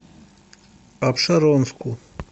апшеронску